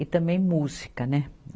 E também música, né?